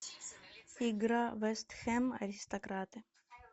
игра вест хэм аристократы